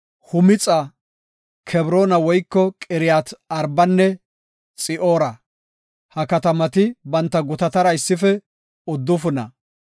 Humixa, Kebroona woyko Qiriyat-Arbanne Xi7oora. Ha katamati banta gutatara issife uddufuna.